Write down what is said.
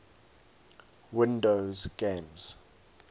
windows games